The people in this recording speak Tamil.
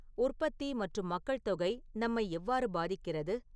உற்பத்தி மற்றும் மக்கள் தொகை நம்மை எவ்வாறு பாதிக்கிறது